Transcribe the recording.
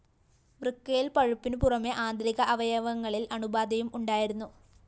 വൃക്കയില്‍ പഴുപ്പിനു പുറമെ ആന്തരിക അവയവങ്ങളില്‍ അണുബാധയും ഉണ്ടായിരുന്നു